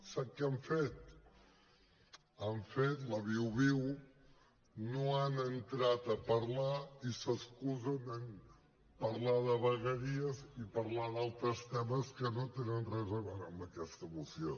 sap què han fet han fet la viu viu no han entrat a parlar i s’excusen en parlar de vegueries i parlar d’altres temes que no tenen res a veure amb aquesta moció